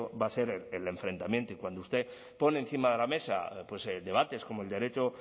va a ser el enfrentamiento y cuando usted pone encima de la mesa debates como el derecho